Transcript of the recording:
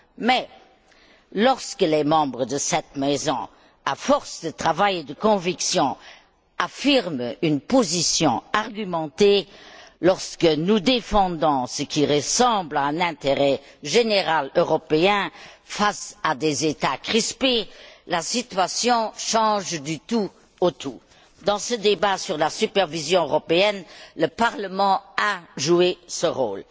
Mais lorsque les membres de cette maison, à force de travail et de conviction, affirment une position argumentée lorsque nous défendons ce qui ressemble à un intérêt général européen face à des États crispés, la situation change du tout au tout. Dans ce débat sur la supervision européenne, le Parlement a joué ce rôle.